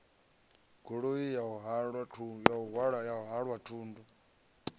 goloi ya u halwa thundu